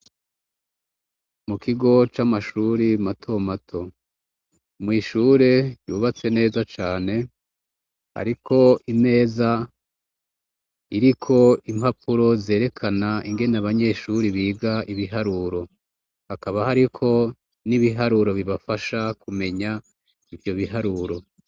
Mu kigo c'amashuri matomato mw' ishure yubatse neza cane, hariko imeza iriko impapuro zerekana ingene abanyeshuri biga ibiharuro, hakaba hariko n'ibiharuro bibafasha kumenya ivyo biharuro.